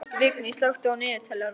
Vigný, slökktu á niðurteljaranum.